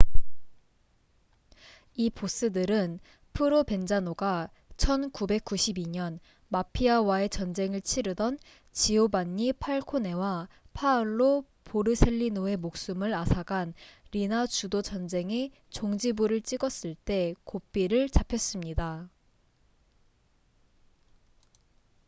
이 보스들은 프로벤자노가 1992년 마피아와의 전쟁을 치르던 지오반니 팔코네와 파올로 보르셀리노의 목숨을 앗아간 리나 주도 전쟁에 종지부를 찍었을 때 고삐를 잡혔습니다